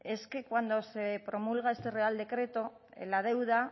es que cuando se promulga este real decreto la deuda